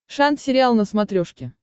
шант сериал на смотрешке